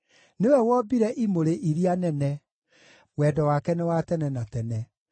nĩwe wombire imũrĩ iria nene, Wendo wake nĩ wa tene na tene.